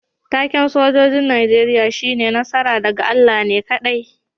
Taken' sojoji'n Nijeriya shine "Nasara daga Allah ne kadai."